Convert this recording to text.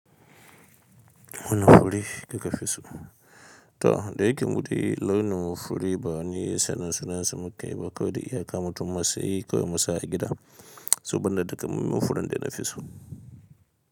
Wanne fure kake fi so? To da yake muɗi launin mu furi ba ni sannan sunansu muka yi ba kawai da iyaka matu masayi kawai masa a gida saboda da kamun mu furin da na fi so.